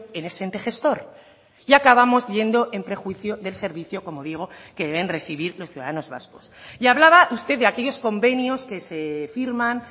en ese ente gestor y acabamos yendo en prejuicio del servicio como digo que deben recibir los ciudadanos vascos y hablaba usted de aquellos convenios que se firman